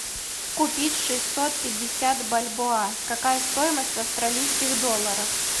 купить шестьсот пятьдесят бальбоа какая стоимость в австралийских долларах